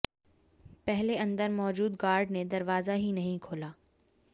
पहले अंदर मौजूद गार्ड ने दरवाजा ही नहीं खोला